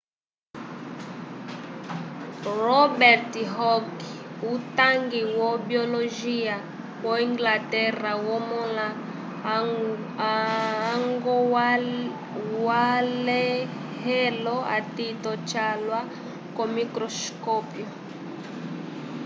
robert hooke utangi wo biologia wo-inglaterra wamõla añgwalẽhelo atito calwa ko-microscópio